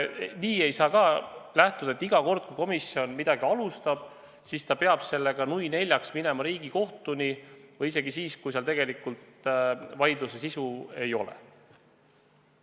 Nii ei saa ka suhtuda, et iga kord, kui komisjon midagi alustab, siis ta peab sellega nui neljaks minema Riigikohtuni ja seda isegi siis, kui seal tegelikult vaidluse sisu ei ole.